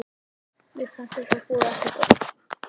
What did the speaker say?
Mér fannst eins og þetta boðaði ekki gott.